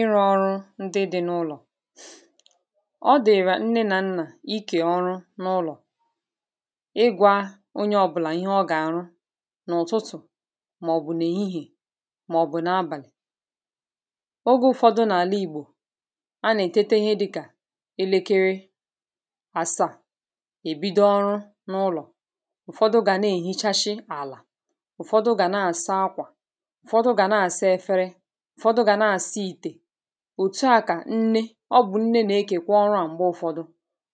ịrụ̇ ọrụ ndị dị n’ụlọ̀ ọ dị̀rà nne na nnà ikè ọrụ n’ụlọ̀ ịgwȧ onye ọbụlà ihe ọ gà-àrụ n’ụ̀tụtụ̀ màọ̀bụ̀ n’èhihè màọ̀bụ̀ n’abàlị̀ ogo ụ̀fọdụ n’àla ìgbò anà-ètete ihe dịkà elekere àsaà èbido ọrụ n’ụlọ̀ ụ̀fọdụ gà na-èhichashi àlà ụ̀fọdụ gà na-àsa akwà ụ̀fọdụ gà na-àsa efere òtù a kà nne ọ bụ̀ nne nà-ekèkwa ọrụ à mgbe ụfọdụ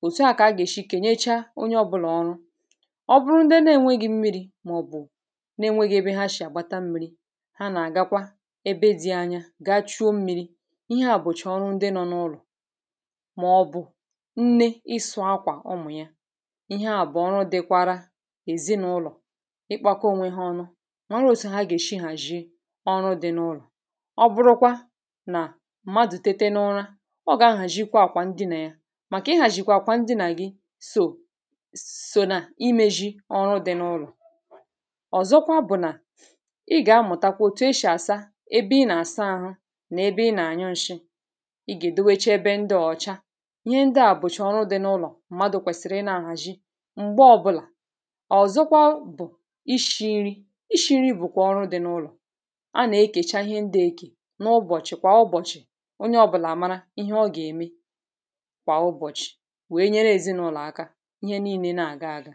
òtù a kà agà-èshi kènyecha onye ọbụlà ọrụ ọ bụrụ ndị na-enweghị̇ mmiri̇ màọ̀bụ̀ na-enwėghị̇ ebe ha shì àgbata mmi̇ri̇ ha nà-àgakwa ebe di̇ anya gachuo mmi̇ri̇ ihe à bụ̀chì ọrụ ndị nọ n’ụlọ̀ màọ̀bụ̀ nne ịsụ̇ akwà ọmụ̀ ya ihe à bụ̀ ọrụ dịkwara èzinụlọ̀ ịkpȧkọ onwe hȧ ọnụ mmadụ̀ tete n’ụlọ̀, ọ gà-ahàjịkwa àkwà ndị nà ya màkà ịhàjịkwa àkwà ndị nà gị sò sò nà imėʒi ọrụ dị n’ụlọ̀ ọ̀zọkwa bụ̀ nà ị gà-amụ̀takwa òtù eshì àsa ebe ị nà-àsa ahụ nà ebe ị nà-ànyụ nshi i gà-èdewecha ebe ndị ọ̀cha ihe ndị à bụ̀chà ọrụ dị n’ụlọ̀ mmadụ̇ kwèsìrì ịnȧ-ahàjị m̀gbe ọbụlà ọ̀zọkwa bụ̀ ishi̇ nri, ishi̇ nri bụ̀kwa ọrụ dị n’ụlọ̀ ihe ọ gà-ème kwà ụbọ̀chị̀ wèe nyere èzinụlọ̀ aka ihe niilė nà-àga aga